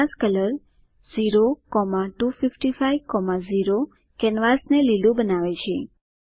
canvas colour 02550 કેનવાસને લીલું બનાવે છે